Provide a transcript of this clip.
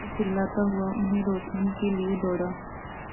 मैं चिल्लाता हुआ उन्हें रोकने के लिए दौड़ा